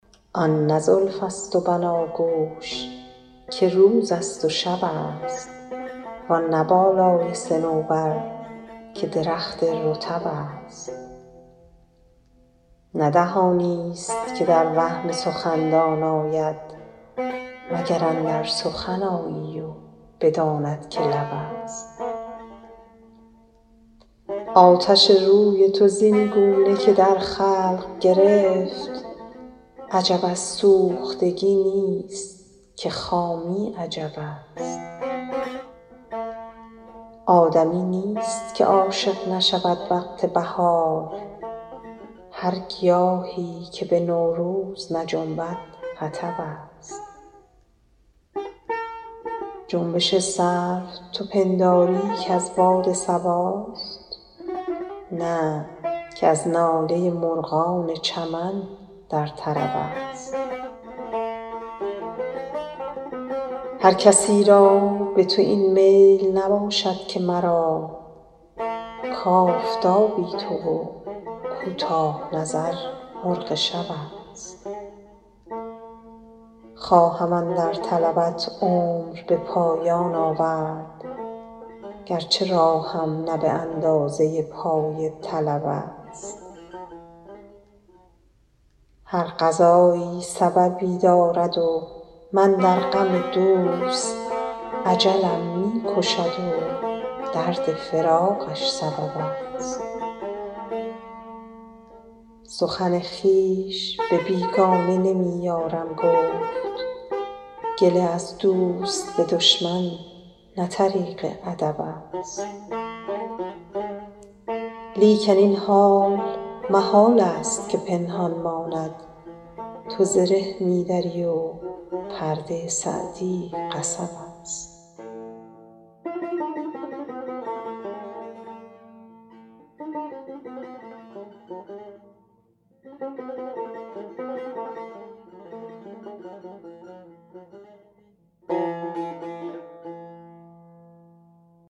آن نه زلف است و بناگوش که روز است و شب است وآن نه بالای صنوبر که درخت رطب است نه دهانی است که در وهم سخندان آید مگر اندر سخن آیی و بداند که لب است آتش روی تو زین گونه که در خلق گرفت عجب از سوختگی نیست که خامی عجب است آدمی نیست که عاشق نشود وقت بهار هر گیاهی که به نوروز نجنبد حطب است جنبش سرو تو پنداری که از باد صباست نه که از ناله مرغان چمن در طرب است هر کسی را به تو این میل نباشد که مرا کآفتابی تو و کوتاه نظر مرغ شب است خواهم اندر طلبت عمر به پایان آورد گرچه راهم نه به اندازه پای طلب است هر قضایی سببی دارد و من در غم دوست اجلم می کشد و درد فراقش سبب است سخن خویش به بیگانه نمی یارم گفت گله از دوست به دشمن نه طریق ادب است لیکن این حال محال است که پنهان ماند تو زره می دری و پرده سعدی قصب است